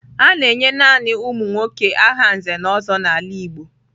A na-enye naanị ụmụ nwoke aha Nze na Ozo n'ala Igbo.